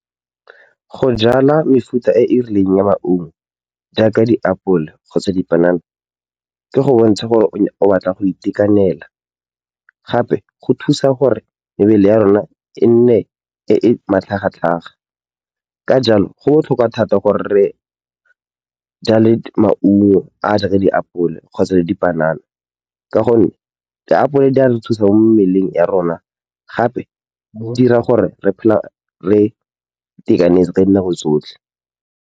Go jwala mefuta e e rileng ya maungo jaaka diapola kgotsa dipanana ke go bontsha gore o batla go itekanela, gape go thusa gore mebele ya rona e nne e e matlhagatlhaga. Ka jalo, go botlhokwa thata gore re jwale maungo a a jaaka diapole kgotsa le dipanana ka gonne diapole di a re thusa mo mmeleng wa rona, gape go dira gore re phele re itekanetse ka dinako tsotlhe.